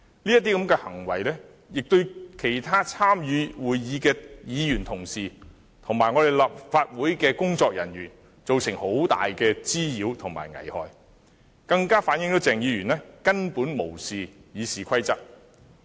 這些行為亦對其他參與會議的議員和立法會的工作人員造成很大的滋擾和危害，更反映鄭議員根本無視《議事規則》。